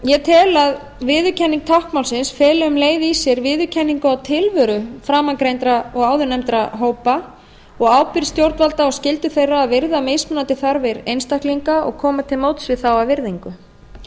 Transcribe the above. ég tel að viðurkenning táknmálsins feli um leið í sér viðurkenningu á tilveru framangreindra og áðurnefndra hópa og ábyrgð stjórnvalda og skyldu þeirra að virða mismunandi þarfir einstaklinga og koma til móts við þá af virðingu